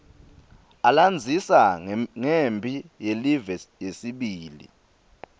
alandzisa ngemphi yelive yesibili